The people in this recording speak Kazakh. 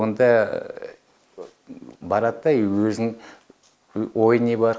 онда барады да өзінің ой не бар